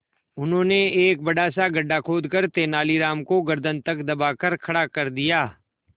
उन्होंने एक बड़ा सा गड्ढा खोदकर तेलानी राम को गर्दन तक दबाकर खड़ा कर दिया